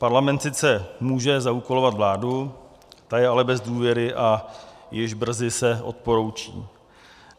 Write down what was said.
Parlament sice může zaúkolovat vládu, ta je ale bez důvěry a již brzy se odporoučí.